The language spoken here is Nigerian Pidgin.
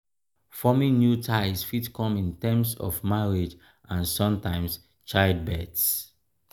forming new ties fit come in terms of marriage and sometimes childbirth